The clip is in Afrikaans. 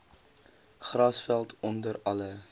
grasveld onder alle